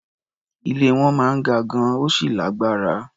Ilé wọn máa ń ga gan-an, ó sì lágbára.